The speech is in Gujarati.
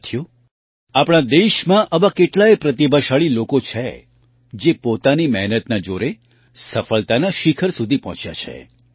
સાથીઓ આપણા દેશમાં આવા કેટલાય પ્રતિભાશાળી લોકો છે જે પોતાની મહેનતનાજોરેસફળતાના શિખર સુધી પહોંચ્યા છે